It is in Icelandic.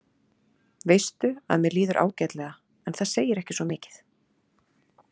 Veistu að mér líður ágætlega en það segir ekki svo mikið.